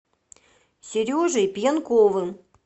сережей пьянковым